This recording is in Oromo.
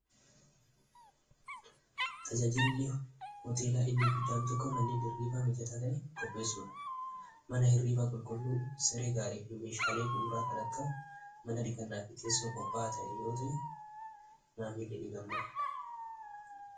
Tajaajilli hooteelaa inni guddaan tokko manneen hirriibaa mijataa ta'e kopheessuudha mana hirriivaa qulqulluu seregaalii fi meeshaalee buuraa kan akka mana dhikannaa fiteessao qophaa'a ta'e yoota maamilli ni gammada.